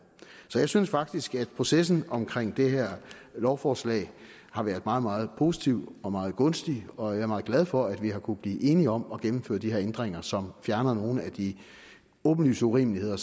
jeg synes faktisk at processen omkring det her lovforslag har været meget meget positiv og meget gunstig og jeg er meget glad for at vi har kunnet blive enige om at gennemføre de her ændringer som fjerner nogle af de åbenlyse urimeligheder